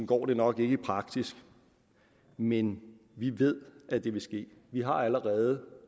går det nok ikke i praksis men vi ved at det vil ske vi har allerede